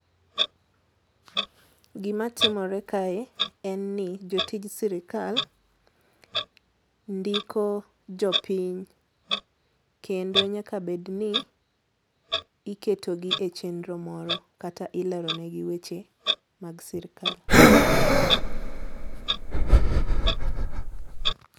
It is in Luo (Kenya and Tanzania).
Gima timore kae en ni jotij sirkal ndiko jopiny kendo nyaka bed ni iketogi e chenro moro kata ileronigi weche mag sirkal